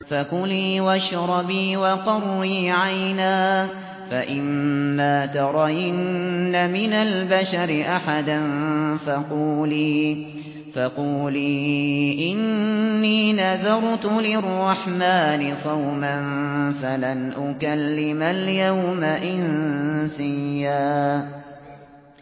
فَكُلِي وَاشْرَبِي وَقَرِّي عَيْنًا ۖ فَإِمَّا تَرَيِنَّ مِنَ الْبَشَرِ أَحَدًا فَقُولِي إِنِّي نَذَرْتُ لِلرَّحْمَٰنِ صَوْمًا فَلَنْ أُكَلِّمَ الْيَوْمَ إِنسِيًّا